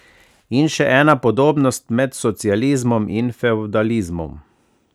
In še ena podobnost med socializmom in fevdalizmom.